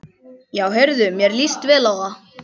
Já heyrðu, mér líst vel á það!